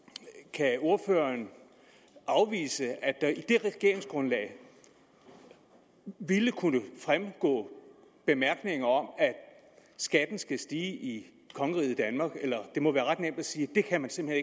kan ordføreren afvise at der i det regeringsgrundlag ville kunne fremgå bemærkninger om at skatten skal stige i kongeriget danmark det må være ret nemt at sige det kan man simpelt